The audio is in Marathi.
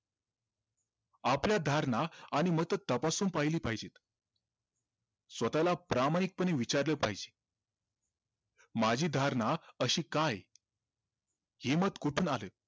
आपल्या धारणा आणि मत तपासून पहिली पाहिजेत स्वतःला प्रामाणिक पने विचारलं पाहिजे माझी धारणा अशी का आहे हे मत कुठून आलं